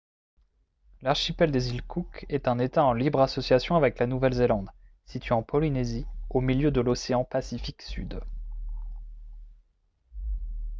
l'archipel des îles cook est un état en libre association avec la nouvelle-zélande situé en polynésie au milieu de l'océan pacifique sud